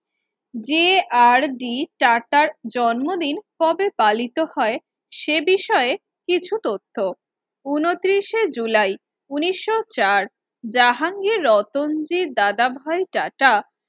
যে R D টাটার জন্মদিন কবে পালিত হয় সে বিষয়ে কিছু তথ্য উনতিরিস এ জুলাই উনিশশো চার জাহাঙ্গীর রতনজি দাদাভাই টাটা